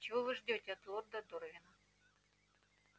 чего вы ждёте от лорда дорвина